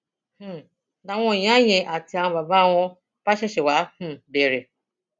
um làwọn ìyá yẹn àti àwọn bàbá wọn bá ṣẹṣẹ wáá um bẹrẹ